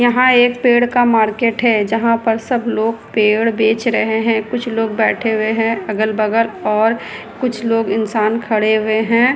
यहां एक पेड़ का मार्केट है जहाँ पर सब लोग पेड़ बेच रहे है कुछ लोग बैठे हुए है अगल-बगल और कुछ लोग इंसान खड़े हुए है।